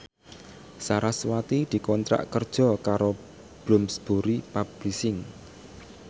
sarasvati dikontrak kerja karo Bloomsbury Publishing